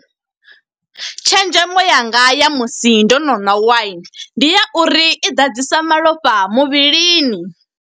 Tshenzhemo yanga ya musi ndo no na waini, ndi ya uri i ḓadzisa malofha muvhilini.